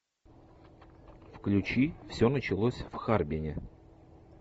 включи все началось в харбине